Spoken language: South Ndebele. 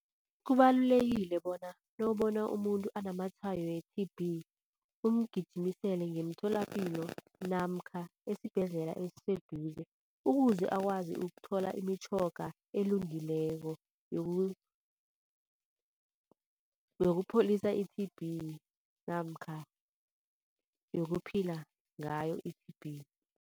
Kubalulekile bona nawubona umuntu anamatshwayo we-T_B umgijimisele ngemitholapilo namkha esibhedlela esiseduze. Ukuze akwazi ukuthola imitjhoga elungileko yokupholisa i-T_B namkha yokuphila ngayo i-T_B.